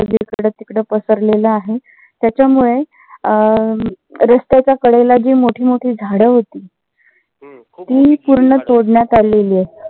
इकड तिकड पसरलेले आहे. त्याच्या मुळे रस्त्याच्या कडेला जी मोठी मोठी झाडं होती. ती पूर्ण तोडण्यात आलेली आहेत.